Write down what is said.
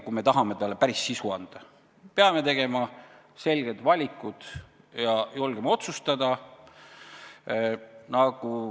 Kui me tahame talle päris sisu anda, peame tegema selged valikud ja julgema otsustada.